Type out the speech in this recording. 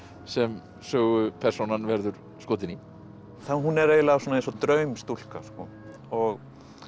sem sögupersónan verður skotin í hún er eiginlega eins og draumstúlka og